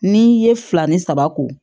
N'i ye fila ni saba ko